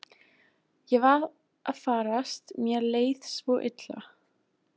Ég var að farast, mér leið svo illa.